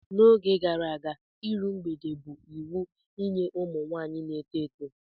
N'oge gara aga, iru mgbede bụ iwu nye ụmụ nwaanyị na-eto eto.